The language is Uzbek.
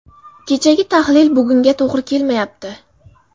Kechagi tahlil bugunga to‘g‘ri kelmayapti.